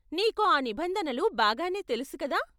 నీకు ఆ నిబంధనలు బాగానే తెలుసు కదా?